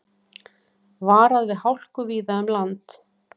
Varað við hálku víða um land